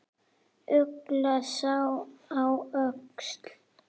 Ugla sat á öxl.